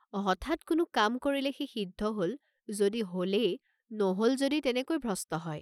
হঠাৎ কোনো কাম কৰিলে সি সিদ্ধ হল যদি হলেই নহল যদি তেনেকৈ ভ্ৰষ্ট হয়।